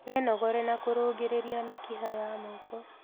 Wĩnogore na kũrũngĩrĩria mĩkiha ya moko